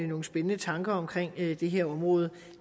nogle spændende tanker om det her område